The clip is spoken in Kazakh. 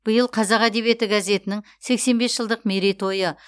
биыл қазақ әдебиеті газетінің сексен бес жылдық мерей тойы